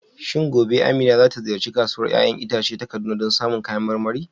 Shin gobe Amina za ta ziyarci Kasuwar 'ya'yan itace ta Kaduna don samun kayan marmari?